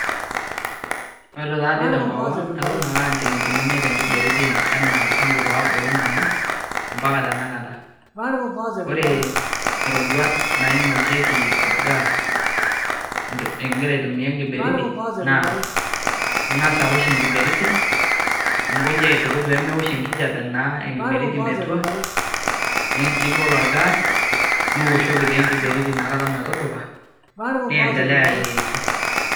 Oore taa toi tenkop ang' eton aapake aa inchilingini imiet enkiberiti enaa tangu peyie abulu nanu[c]mpaka tanakata. Oore iroruat nainokieki orgaas, iguira aiatumia enkiberiti naa ing'as aosh enkiberiti, ninkoji aitukut naa peyie meosh enkihjape enkiberiti metua, nibol orgaas, nioshoki taa iina kata enkiberiti metudupa, niendlea ayierisho.